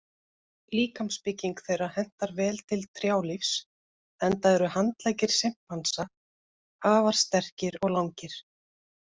Líkamsbygging þeirra hentar vel til trjálífs enda eru handleggir simpansa afar sterkir og langir.